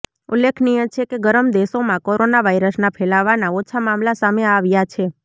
ઉલ્લેખનીય છે કે ગરમ દેશોમાં કોરોના વાયરસના ફેલાવાના ઓછા મામલા સામે આવ્યા છે